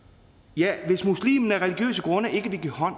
ja hvis muslimen af religiøse grunde ikke vil give hånd